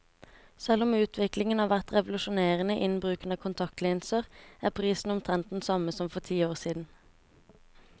Selv om utviklingen har vært revolusjonerende innen bruken av kontaktlinser, er prisen omtrent den samme som for ti år siden.